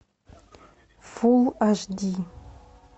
фул аш ди